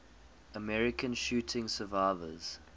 american shooting survivors